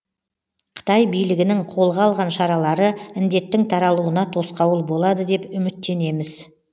қытай билігінің қолға алған шаралары індеттің таралуына тосқауыл болады деп үтміттенеміз